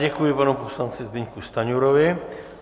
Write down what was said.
Děkuji panu poslanci Zbyňku Stanjurovi.